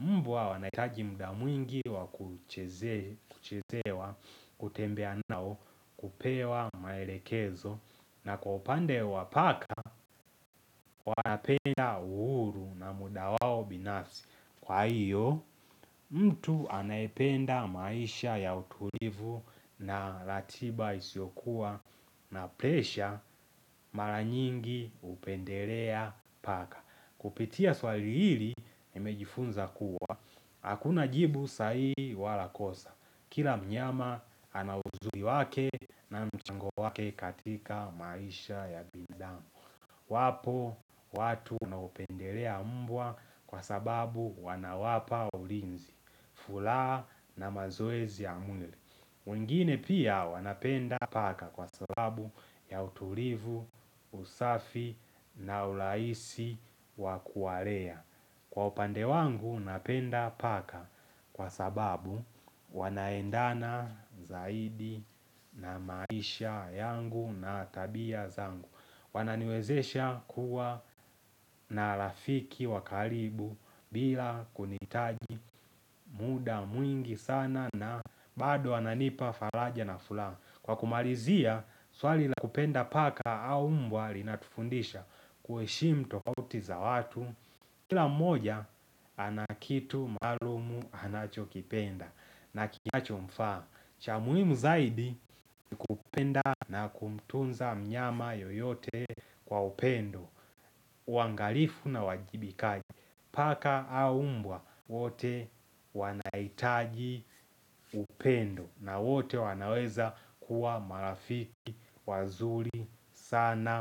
Mbwa wanaitaji muda mwingi wakuchezewa, kutembea nao, kupewa maelekezo na kwa upande wa paka wanapenda uhuru na muda wao binafsi Kwa hiyo mtu anaipenda maisha ya utulivu na ratiba isiokuwa na presha mara nyingi hupendelea paka Kupitia swalili hili nimejifunza kuwa hakuna jibu sahihi wala kosa Kila mnyama anawuzuli wake na mchango wake katika maisha ya bindamu Wapo watu wanaupendelea mbwa kwa sababu wana wapa ulinzi Fula na mazoezi ya mwili mwingine pia wanapenda paka kwa sababu ya utulivu, usafi na ulaisi waku walea Kwa upande wangu napenda paka kwa sababu wanaendana zaidi na maisha yangu na tabia zangu Wananiwezesha kuwa na rafiki wakalibu bila kunitaji muda mwingi sana na bado ananipa falaja na fula Kwa kumalizia swali la kupenda paka au mbwa lina tufundisha kuheshimu tofauti za watu Kila mmoja anakitu maalumu anacho kipenda na kinacho mfa Chamuimu zaidi kupenda na kumtunza mnyama yoyote kwa upendo wangalifu na uwajibikaji paka aumbwa wote wanaitaji upendo na wote wanaweza kuwa marafiki wazuri sana.